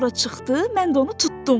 Sonra çıxdı, mən də onu tutdum.